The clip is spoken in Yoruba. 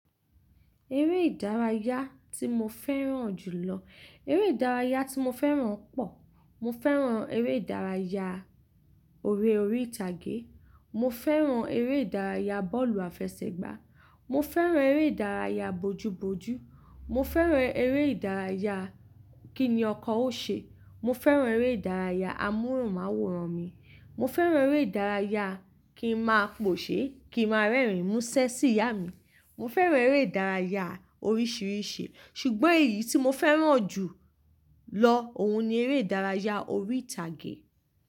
Eré ìdárayá tí mo fẹ́ràn jù lọ, eré ìdárayá tí mo fẹ́ràn pọ̀, mo fẹ́ràn eré ìdárayá eré orí ìtàgé, mo fẹ́ràn eré ìdárayá bọ́ọ̀lù àfẹsẹ̀gbá, mo fẹ́ràn eré ìdárayá bojú bojú, mo fẹ́ràn eré ìdárayá kíni ọkọ ó ṣe, mo fẹ́ràn eré ìdárayá amóhùnmáwòrán mi, mo fẹ́ràn eré ìdárayá kí n máa pòṣe, kí n máa rẹ́rìn mú ṣẹ́ sí ìyá mi, mo fẹ́ràn eré ìdárayá oríṣìíríṣìí. Ṣùgbọ́n èyí tí mo fẹ́ràn jù lọ, òun ni eré ìdárayá orí ìtàgé.